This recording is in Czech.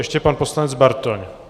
Ještě pan poslanec Bartoň.